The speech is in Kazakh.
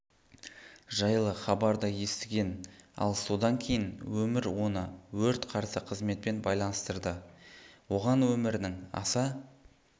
жайлы хабарды естіген ал содан кейін өмір оны өрт қарсы қызметпен байланыстырды оған өмірінің аса